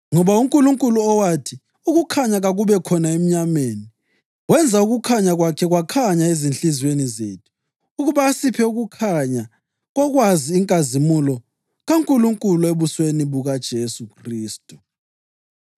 Ngoba uNkulunkulu owathi, “Ukukhanya kakube khona emnyameni,” + 4.6 UGenesisi 1.3 wenza ukukhanya kwakhe kwakhanya ezinhliziyweni zethu ukuba asiphe ukukhanya kokwazi inkazimulo kaNkulunkulu ebusweni bukaJesu Khristu.